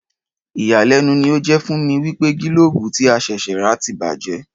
Ìyàlẹ́nu ni ó jé fún mi wípé gílóòbù tí a ṣẹ̀ṣẹ̀ rà ti bàjé